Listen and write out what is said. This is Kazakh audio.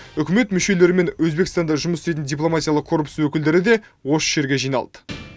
үкімет мүшелері мен өзбекстанда жұмыс істейтін дипломатиялық корпус өңілдері де осы жерге жиналды